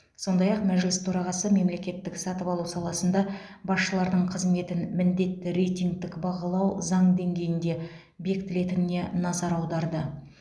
сондай ақ мәжіліс төрағасы мемлекеттік сатып алу саласында басшылардың қызметін міндетті рейтингтік бағалау заң деңгейінде бекітілетініне назар аударды